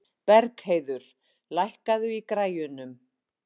Bergheiður, lækkaðu í græjunum.